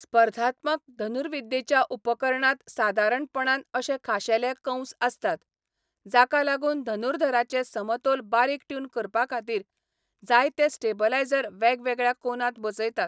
स्पर्धात्मक धनुर्विद्येच्या उपकरणांत सादारणपणान अशे खाशेले कंस आसतात, जाका लागून धनुर्धराचें समतोल बारीक ट्यून करपाखातीर जायते स्टेबलायझर वेगवेगळ्या कोनांत बसयतात.